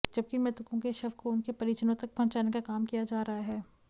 जबकि मृतकों के शव को उनके परिजनों तक पहुंचाने का काम किया जा रहा है